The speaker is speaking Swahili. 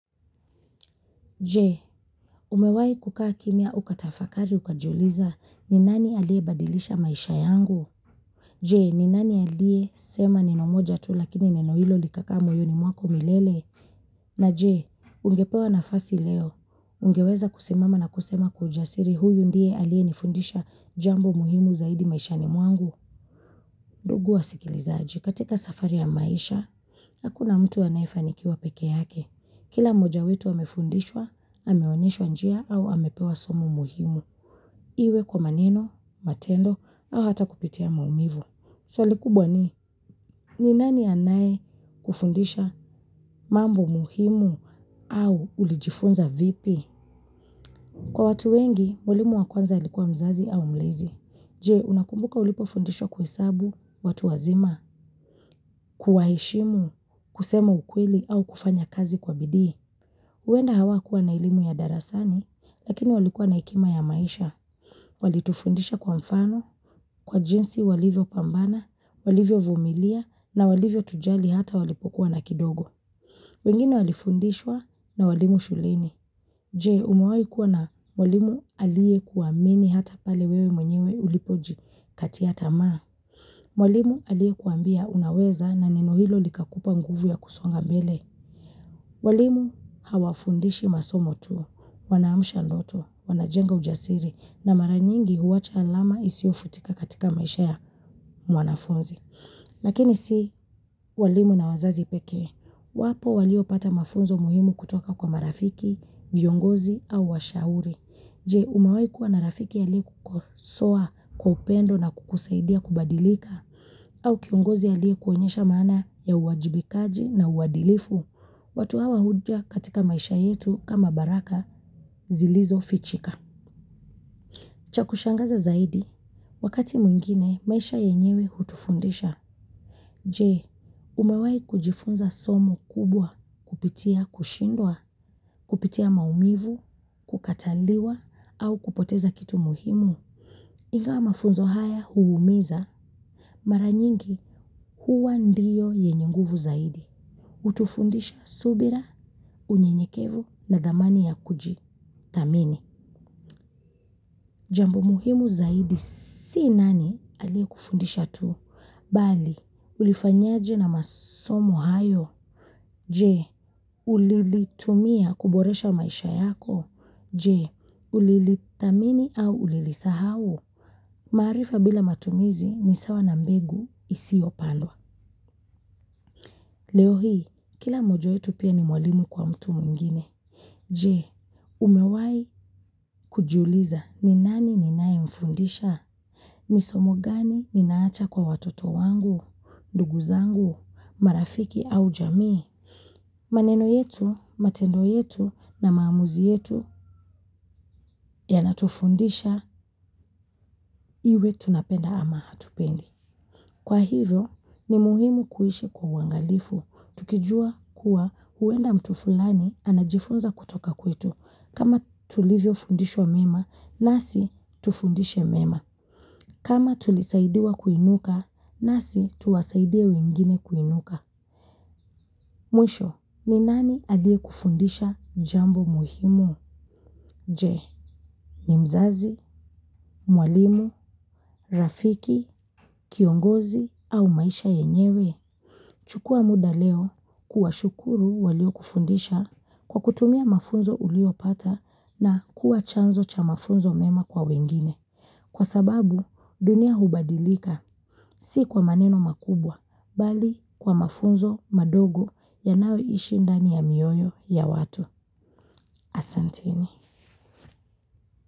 Je, umewahi kukaa kimya ukatafakari ukajiuliza ni nani aliyebadilisha maisha yangu? Je, ni nani aliyesema neno moja tu lakini neni hilo likakaa moyoni mwako milele? Na je, ungepewa nafasi leo, ungeweza kusimama na kusema kwa ujasiri huyu ndiye aliyenifundisha jambo muhimu zaidi maishani mwangu? Ndugu wasikilizaji, katika safari ya maisha, hakuna mtu anayefanikiwa peke yake. Kila moja wetu amefundishwa ameonyeshwa njia au amepewa somo muhimu. Iwe kwa maneno, matendo au hata kupitia maumivu. Swali kubwa ni, ni nani anayekufundisha mambo muhimu au ulijifunza vipi? Kwa watu wengi, mwalimu wa kwanza alikuwa mzazi au mlezi. Je, unakumbuka ulipofundishwa kuhesabu, watu wazima, kuwaheshimu, kusema ukweli au kufanya kazi kwa bidii. Huenda hawakuwa na elimu ya darasani, lakini walikuwa na hekima ya maisha. Walitufundisha kwa mfano, kwa jinsi walivyopambana, walivyovumilia, na walivyotujali hata walipokuwa na kidogo. Wengine walifundishwa na walimu shuleni. Je umawahi kuwa na mwalimu aliyekuamini hata pale wewe mwenyewe ulipojikatia tamaa. Mwalimu aliyekwambia unaweza na neno hilo likakupa nguvu ya kusonga mbele. Walimu hawafundishi masomo tu. Wanaamsha ndoto, wanajenga ujasiri na mara nyingi huwacha alama isiofutika katika maisha ya mwanafunzi. Lakini si walimu na wazazi pekee. Wapo walio pata mafunzo muhimu kutoka kwa marafiki viongozi au washauri. Je, umawahi kuwa na rafiki aliyekukosoa, kwa upendo na kukusaidia kubadilika, au kiongozi aliyekuonyesha maana ya uwajibikaji na uwadilifu. Watu hawa huja katika maisha yetu kama baraka zilizofichika. Cha kushangaza zaidi, wakati mwingine maisha yenyewe hutufundisha. Je, umawahi kujifunza somo kubwa, kupitia kushindwa, kupitia maumivu, kukataliwa, au kupoteza kitu muhimu. Ingawa mafunzo haya huumiza, mara nyingi huwa ndiyo yenye nguvu zaidi. Hutufundisha subira, unyenyekevu na dhamani ya kuji. Thamini, jambo muhimu zaidi si nani aliyekufundisha tu. Bali, ulifanyaje na masomo hayo. Je ulilitumia kuboresha maisha yako. Je, ulilithamini au ulilisahau. Maarifa bila matumizi ni sawa na mbegu isiyopandwa. Leo hii, kila mmoja wetu pia ni mwalimu kwa mtu mwingine. Je, umewahi kujiuliza ni nani ninaye mfundisha. Ni somo gani ninaacha kwa watoto wangu, ndugu zangu, marafiki au jamii, maneno yetu, matendo yetu na maamuzi yetu yanatufundisha iwe tunapenda ama hatupendi. Kwa hivyo, ni muhimu kuishi kwa uwangalifu. Tukijua kuwa huenda mtu fulani anajifunza kutoka kwetu. Kama tulivyo fundishwa mema, nasi tufundishe mema. Kama tulisaidiwa kuinuka, nasi tuwasaidia wengine kuinuka. Mwisho, ni nani aliyekufundisha jambo muhimu? Je ni mzazi mwalimu rafiki kiongozi au maisha yenyewe. Chukua muda leo kuwa shukuru waliokufundisha kwa kutumia mafunzo uliopata na kuwa chanzo cha mafunzo mema kwa wengine. Kwa sababu dunia hubadilika si kwa maneno makubwa bali kwa mafunzo madogo yanaoishindani ya mioyo ya watu asanteni.